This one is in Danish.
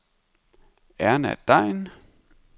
Erna Degn